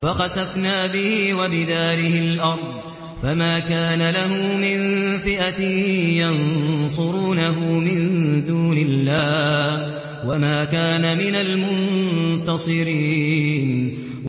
فَخَسَفْنَا بِهِ وَبِدَارِهِ الْأَرْضَ فَمَا كَانَ لَهُ مِن فِئَةٍ يَنصُرُونَهُ مِن دُونِ اللَّهِ وَمَا كَانَ مِنَ الْمُنتَصِرِينَ